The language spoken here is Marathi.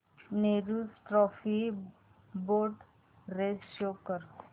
Nehru trophy boat race show कर